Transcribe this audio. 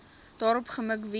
daarop gemik wees